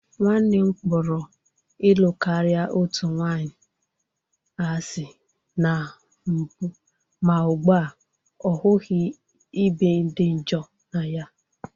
Nwanne m kpọrọ ịlụ karịa otu nwanyị asị na mbụ ma ugbu a ọ hụghị ịbe dị njọ na ya